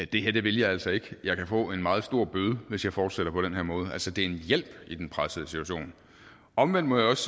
det her vil jeg altså ikke jeg kan få en meget stor bøde hvis jeg fortsætter på den her måde altså det er en hjælp i den pressede situation omvendt må jeg også